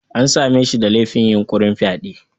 An same shi da laifin yunƙurin fyade.